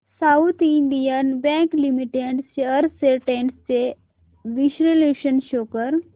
south Indian Bank Limited shares trends चे विश्लेषण show कर